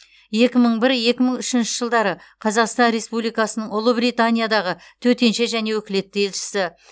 екі мың бір екі мың үшінші жылдары қазақстан республикасының ұлыбританиядағы төтенше және өкілетті елшісі